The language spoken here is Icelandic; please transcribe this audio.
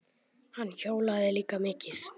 Hann hjólaði líka mikið.